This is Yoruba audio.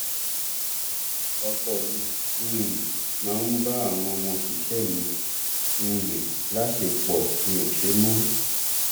ọkọ mi um máa ń bá àwọn ọmọọṣẹ mi um láṣepọ mi ò ṣe mọ